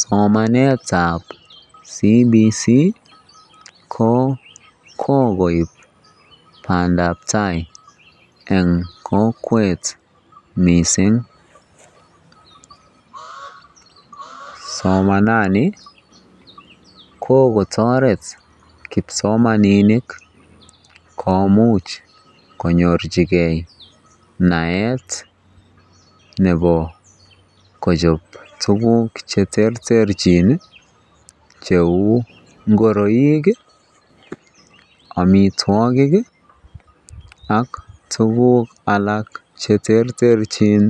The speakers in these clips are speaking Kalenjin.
Somanetab CBC ko kokoib bandab taai en kokwet mising, somanani ko kotoret kipsomaninik komuch konyorchike naet nebo kochob tukuk cheterterchin cheu ngoroik, amitwokik ak tukuk alak cheterterchin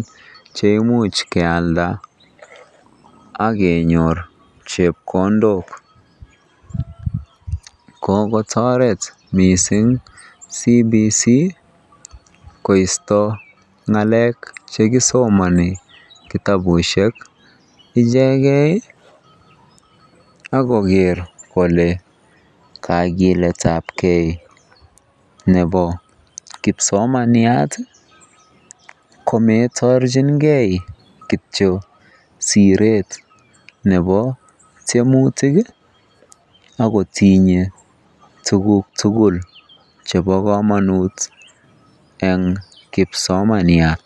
cheimuch kealda ak kenyor chepkondok, kokotoret mising CBC koisto ngalek chekisomoni kitabushek icheken ak koker kolee kakiletabke nebo kipsomaniat komoitorchinge kitio siret nebo tiemutik ak kotinye tukuk tukul chebo komonut en kipsomaniat.